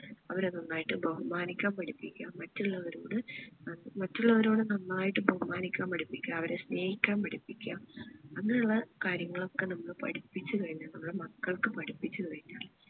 അവരെ നന്നായിട്ട് ബഹുമാനിക്കാൻ പഠിപ്പിക്ക മറ്റുള്ളവരോട് മറ്റുള്ളവരോട് നന്നായിട്ട് ബഹുമാനിക്കാൻ പഠിപ്പിക്ക അവരെ സ്നേഹിക്കാൻ പഠിപ്പിക്ക അങ്ങനെ ഉള്ള കാര്യങ്ങൾ ഒക്കെ നമ്മള് പഠിപ്പിച്ചു കഴിഞ്ഞ നമ്മള് മക്കൾക്ക് പഠിപ്പിച്ചു കഴിഞ്ഞാൽ